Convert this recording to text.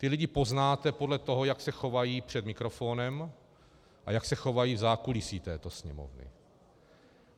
Ty lidi poznáte podle toho, jak se chovají před mikrofonem a jak se chovají v zákulisí této Sněmovny.